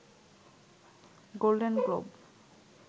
golden globe